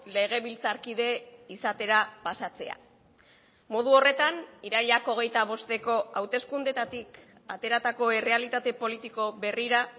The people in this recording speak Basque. legebiltzarkide izatera pasatzea modu horretan irailak hogeita bosteko hauteskundeetatik ateratako errealitate politiko berrira